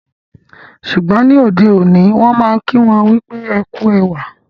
Ṣùgbọ́n, ní ọdẹ̀ oní, wọn maa n kí wọn pe "Ẹ ku èwà"